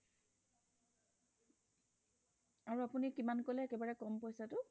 আৰু অপুনি কিমান কলে একেবাৰে কম পইছা টো